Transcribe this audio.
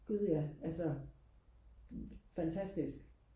gud ja altså fantastisk